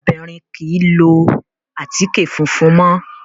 Àwọn obìnrin ò kí ń lo àtíkè funfun mọ́.